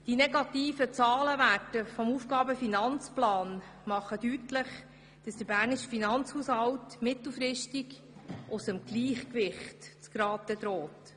Die negativen Zahlenwerte des Aufgaben-/Finanzplans machen deutlich, dass der bernische Finanzhaushalt mittelfristig aus dem Gleichgewicht zu geraten droht.